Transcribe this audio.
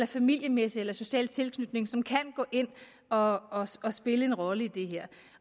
familiemæssig eller social tilknytning som kan gå ind og og spille en rolle i